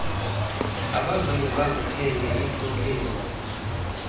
abazange bazithenge iithokheni